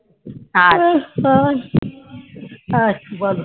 আচ্ছা